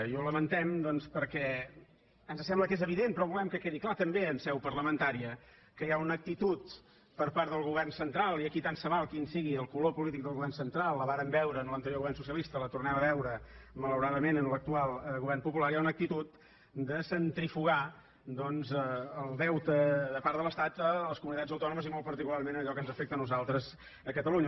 i ho lamentem doncs perquè ens sembla que és evident però volem que quedi clar també en seu parlamentària que hi ha una actitud per part del govern central i aquí tant se val quin sigui el color polític del govern central la vàrem veure en l’anterior govern socialista la tornem a veure malauradament en l’actual govern popular hi ha una actitud de centrifugar el deute de part de l’estat a les comunitats autònomes i molt particularment a allò que ens afecta a nosaltres a catalunya